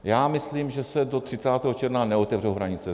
Já myslím, že se do 30. června neotevřou hranice.